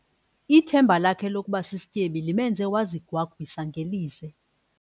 Ithemba lakhe lokuba sisityebi limenze wazigwagwisa ngelize.